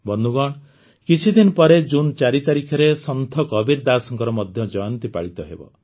ବନ୍ଧୁଗଣ କିଛିଦିନ ପରେ ଜୁନ୍ ୪ ତାରିଖରେ ସନ୍ଥ କବୀର ଦାଶଙ୍କର ମଧ୍ୟ ଜୟନ୍ତୀ ପାଳିତ ହେବ